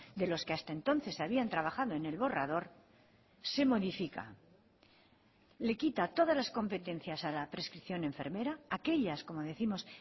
de los que hasta entonces habían trabajado en el borrador se modifica le quita todas las competencias a la prescripción enfermera aquellas como décimos